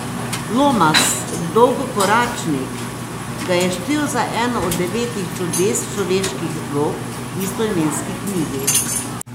Lomas Dolgokoračnik ga je štel za eno od devetih čudes človeških rok v istoimenski knjigi.